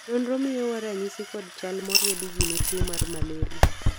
nonro miyowa ranyisi kod chal moriedi gi ne tuo mar malraia